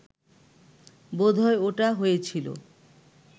বোধহয় ওটা হয়েছিল